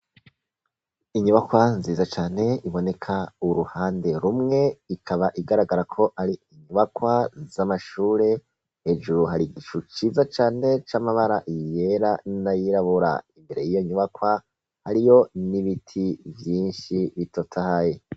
Inyubakwa nziza cane iboneka uruhande rumwe, ikaba igaragara ko ari inyubakwa z'amashure hejuru hari igicu ciza cane c'amabara yera n'ayirabura, imbere y'iyo nyubakwa hariyo n'ibiti vyinshi bitotahaye.